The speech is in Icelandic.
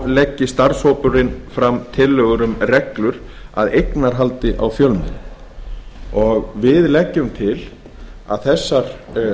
leggi starfshópurinn fram tillögur um reglur að eignarhaldi á fjölmiðlum við leggjum til að þessar